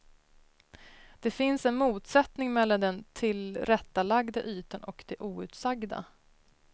Det finns en motsättning mellan den tillrättalagda ytan och det outsagda.